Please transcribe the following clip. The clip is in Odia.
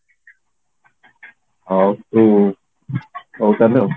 ଆଉ ତୁ ଘରୁ ବାହାରିନୁ ଆଉ